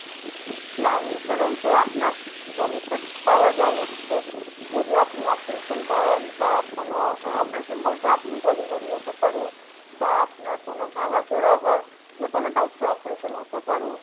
না insurance এ আপনার benefit পাওয়া যায় হচ্ছে যদি আপনি operation করান বা কোন operation বলতে আপনি delivery হতে পারে বা আপনার কোন ভাঙা চোরা বা যে কোনো types এর operation হতে পারে